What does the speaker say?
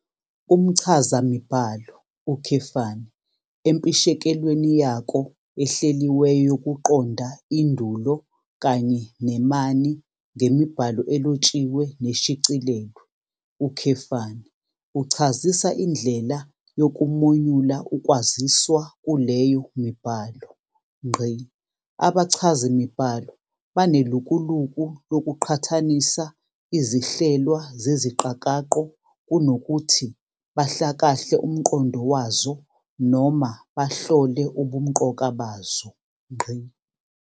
Umchazamibhalo, empishekelweni yako ehleliweyo yokuqonda indulo Kanye nemanie ngemibhalo elotshiwe neshicilelwe, uchazisa indlela yokumonyula ukwaziswa kuleyo mibhalo. Abachazimibhalo banelukuluku lokuqhathanisa izihlelwa zeziqakaqo kunokuthi bahlakahle umqondo wazo noma bahlole ubumqoka bazo.